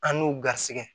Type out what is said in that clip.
An n'u garisɛgɛ